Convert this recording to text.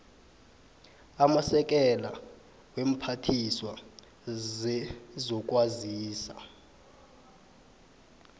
amasekela weemphathiswa zezokwazisa